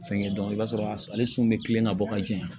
Fɛnkɛ dɔn i b'a sɔrɔ ale sun bɛ kilen ka bɔ ka jɛya